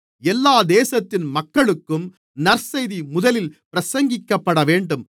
எல்லா தேசத்தின் மக்களுக்கும் நற்செய்தி முதலில் பிரசங்கிக்கப்படவேண்டும்